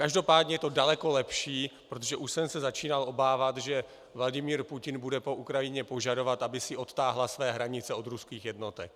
Každopádně je to daleko lepší, protože už jsem se začínal obávat, že Vladimir Putin bude po Ukrajině požadovat, aby si odtáhla své hranice od ruských jednotek.